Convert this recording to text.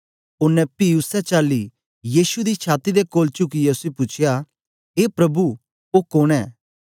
ओनें पी उसै चाली यीशु दी छाती दे कोल चुकियै उसी पूछया ए प्रभु ओ कोन ऐ